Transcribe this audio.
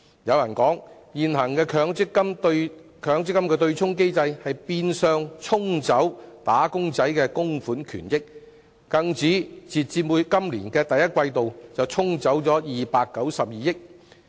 有人指出，現行的強積金對沖機制，變相"沖走"了"打工仔"的供款權益，更指截至今年第一季度，便"沖走"了292億元。